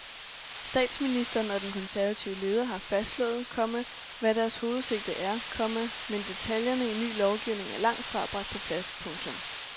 Statsministeren og den konservative leder har fastslået, komma hvad deres hovedsigte er, komma men detaljerne i en ny lovgivning er langt fra bragt på plads. punktum